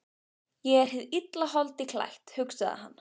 Ég er hið illa holdi klætt, hugsaði hann.